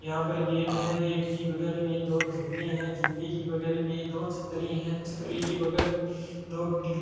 यहाँ पर गेट है गेट की बगल में दो झूले हैं झूले जी बगल में दो छतरी है छतरी की बगल में दो बिल्डी --